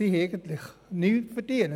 Diese haben keinen Verdienst daran.